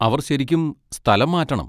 അവർ ശരിക്കും സ്ഥലം മാറ്റണം.